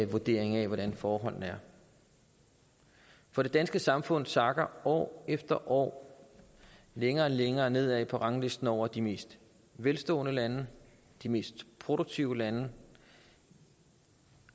vurdering af hvordan forholdene er for det danske samfund sakker år for år længere og længere nedad på ranglisten over de mest velstående lande de mest produktive lande